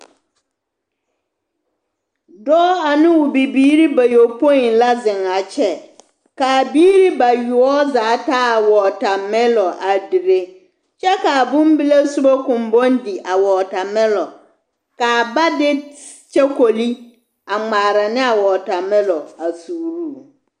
Dɔɔ ane o bibiiri bayɔpoi la zeŋ a kyɛ k'a biiri bayoɔbo zaa taa wɔtamɛlɔ a taa dire kyɛ k'a bombile sobɔ koŋ bɔŋ di a wɔtamɛlɔ k'a ba de kyokoli a ŋmaara ne a wɔtamɛlɔ a suuruu.